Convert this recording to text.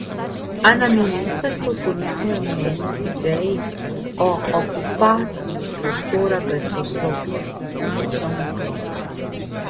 A na ministrstvu po njihovem mnenju ideji o okupaciji prostora pred poslopjem niso naklonjeni.